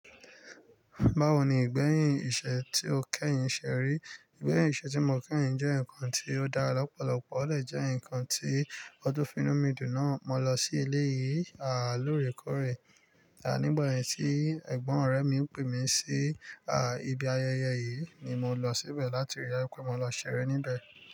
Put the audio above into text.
Báwo ni ìgbẹ́yìn ìṣe tí o kẹ́yìn ṣe rí? Ìgbẹ́yìn ìṣe tí mo kẹ́yìn jẹ́ nǹkan tí ó dára lọ́pọ̀lọpọ̀, ó dè jẹ́ ǹnkan tí ó tún finú mi dùn náà mọ́ lọ sí eleyìi lóòrèkóorè. À nígbà yen tí ẹ̀gbọ́n ọ̀rẹ́ mi pè mí si ibi ayẹyẹ yìí ni mo lọ síbẹ̀ láti rí daju pé mo lọ ṣeré níbẹ̀.